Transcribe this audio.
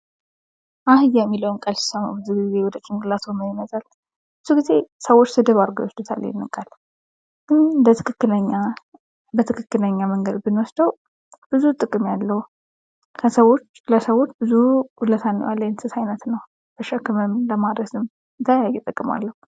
አህያ የሚለውን ቃል ሲሰማ ብዙውን ጊዜ ወደ ጭንቅላትዎ ምን ይመጣል? ብዙ ጊዜ ሰዎች ስድብ አድርገው ይወስዱታል ይኽንን ቃል ግን በትክክለኛ መልኩ ብንወስደው ብዙ ጥቅም ያለው ለሰዎች ብዙ ዉለታ የዋለ የቤት እንስሳ ነው። በሸክምም በማረስም ብዙ ጥቅም አለው።